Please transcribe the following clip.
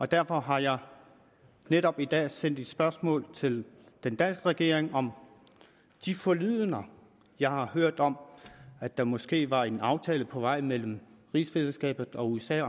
derfor har jeg netop i dag sendt et spørgsmål til den danske regering om de forlydender jeg har hørt om at der måske var en aftale på vej mellem rigsfællesskabet og usa